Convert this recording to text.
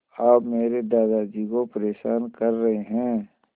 आप मेरे दादाजी को परेशान कर रहे हैं